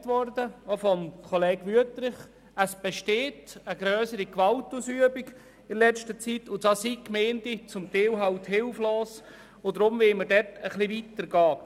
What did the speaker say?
Gesagt wurde, auch von Kollege Wüthrich, dass in letzter Zeit eine grössere Gewaltausübung besteht, und da sind die Gemeinden teilweise hilflos und deshalb wollen wir dort etwas weiter gehen.